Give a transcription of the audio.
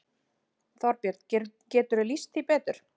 Þorbjörn: Geturðu lýst því betur?